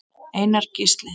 Einar Gísli.